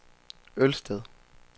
Ølsted